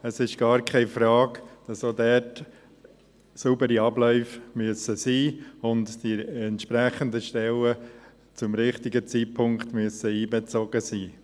es ist gar keine Frage, dass die Abläufe auch dort sauber sein müssen und dass die entsprechenden Stellen zum richtigen Zeitpunkt einbezogen sein müssen.